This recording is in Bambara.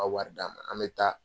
wari d'an ma an bɛ taa.